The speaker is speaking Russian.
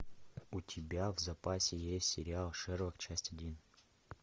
у тебя в запасе есть сериал шерлок часть один